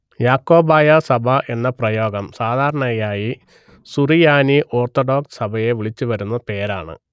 യാക്കോബായ സഭ എന്ന പ്രയോഗം സാധാരണയായി സുറിയാനി ഓർത്തഡോക്സ് സഭയെ വിളിച്ചു വരുന്ന പേരാണ്